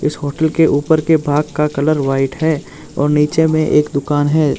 इस होटल के ऊपर के भाग का कलर व्हाइट है और नीचे में एक दुकान है।